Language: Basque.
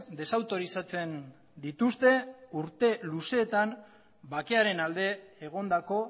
desautorizatzen dituzte urte luzeetan bakearen alde egondako